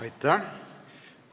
Aitäh!